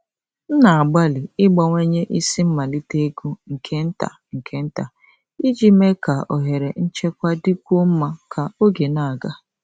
M na-agbalị ịbawanye isi mmalite ego nke nta nke nta iji mee ka ohere nchekwa dịkwuo mma ka oge na-aga.